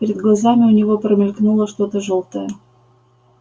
перед глазами у него промелькнуло что то жёлтое